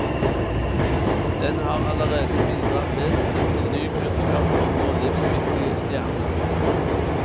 Den har allerede bidratt vesentlig til ny kunnskap om vår livsviktige stjerne.